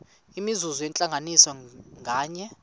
imizuzu yentlanganiso nganye